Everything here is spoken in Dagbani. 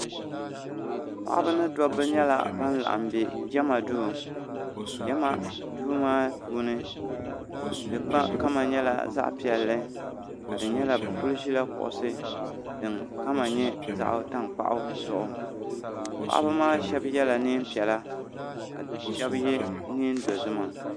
Paɣiba ni dobba nyɛla ban laɣim be jama duu jama duu maa puuni di kama nyɛla zaɣ'piɛlli ka di nyɛla bɛ kuli ʒila kuɣusi din kama nyɛ zaɣ'tankpaɣu zuɣu paɣiba maa shɛba yela neem'piɛla ka shɛba ye neen'dozima.